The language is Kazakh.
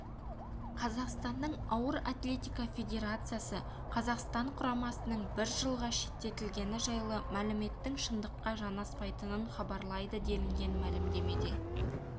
қазақстанның ауыр атлетика федерациясы қазақстан құрамасының бір жылға шеттетілгені жайлы мәліметтің шындыққа жанаспайтынын хабарлайды делінген мәлімдемеде